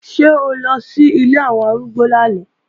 Ṣé o lọ sí ilé àwọn arúgbó lánàá?